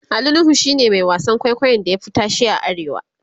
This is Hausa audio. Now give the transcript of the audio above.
Ali nuhu shine Mai wasan kwaikwayon da ya Fi tashe a arewa